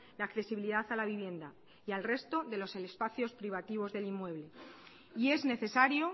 la accesibilidad a la vivienda y al resto de los espacios privativos del inmueble y es necesario